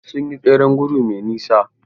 Sun yi tseren gudu mai nisa.